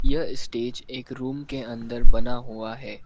यह स्टेज एक रूम के अंदर बना हुआ है।